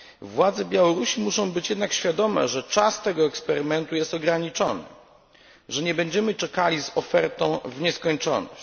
Władze Białorusi muszą być jednak świadome, że czas tego eksperymentu jest ograniczony, że nie będziemy czekali z ofertą w nieskończoność.